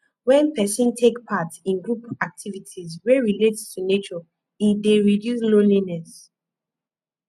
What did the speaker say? when person take part in group activites wey relate to nature e dey reduce loneliness